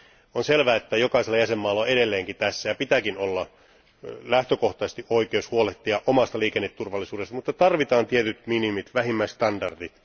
On selvää, että jokaisella jäsenvaltiolla on edelleenkin tässä, ja pitääkin olla, lähtökohtaisesti oikeus huolehtia omasta liikenneturvallisuudestaan, mutta tarvitaan tietyt minimit ja vähimmäisstandardit.